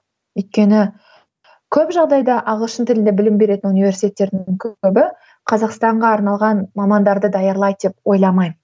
өйткені көп жағдайда ағылшын тілінде білім беретін университеттердің көбі қазақстанға арналған мамандарды даярлайды деп ойламаймын